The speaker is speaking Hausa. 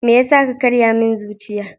Me yasa ka karya min zuciya?